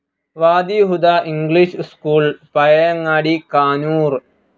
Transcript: Wadi Huda English school, Pazhayangadi, Kanoor